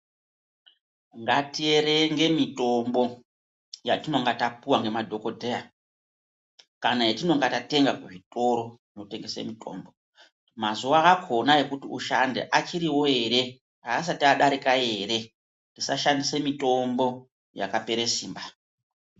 Ngatierenge mitombo yatinenge tapuwa nemadhokhodheya kana yatinenge tatenga kuzvitoro mazuwa akona ekuti ushande achiwo ere haasati adarika ere kushandisa mitombo yakapera simba.